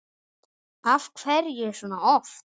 Af hverju svona oft?